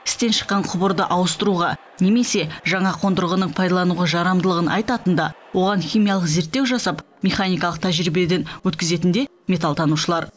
істен шыққан құбырды ауыстыруға немесе жаңа қондырғының пайдалануға жарамдылығын айтатын да оған химиялық зерттеу жасап механикалық тәжірибеден өткізетін де металл танушылар